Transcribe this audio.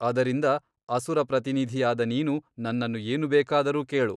ಅದರಿಂದ ಅಸುರ ಪ್ರತಿನಿಧಿಯಾದ ನೀನು ನನ್ನನ್ನು ಏನು ಬೇಕಾದರೂ ಕೇಳು.